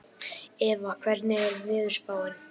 Eva, hvernig er veðurspáin?